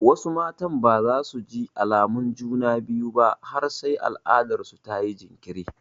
Wasu matan ba za su ji alamun juna biyu ba har sai al'adarsu ta yi jinkiri.